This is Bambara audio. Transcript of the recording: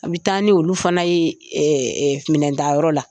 An bɛ taa ni olu fana ye minɛn tayɔrɔ la.